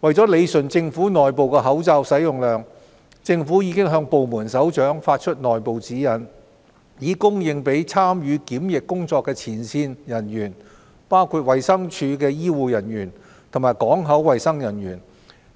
為理順政府內部的口罩使用量，政府已向部門首長發出內部指引，以供應給參與檢疫工作的前線人員，包括衞生署的醫護人員及港口衞生人員、